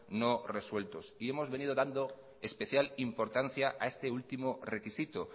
no resueltos y hemos venido dando especial importancia a este último requisito